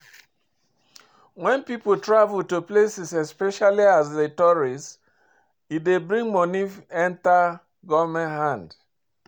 When pipo travel to places especially as tourist, e dey bring money enter government hand